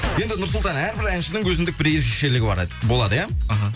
енді нұрсұлтан әрбір әншінің өзіндік бір ерекшелігі болады иә іхі